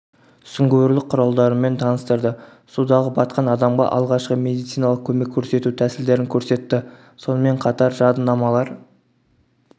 сүңгуірлік құралдарымен таныстырды судағы батқан адамға алғашқы медициналық көмек көрсету тәсілдерін көрсетті сонымен қатар жадынамалар